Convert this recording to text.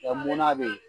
Ɔ munna bɛ yen